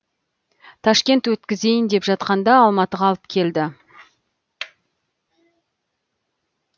ташкент өткізейін деп жатқанда алматыға алып келді